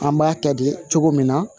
An b'a kɛ de cogo min na